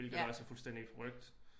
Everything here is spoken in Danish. Hvilket også er fuldstændig forrykt